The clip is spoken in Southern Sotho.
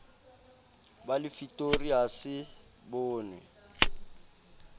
ba lefitori ha se bonwe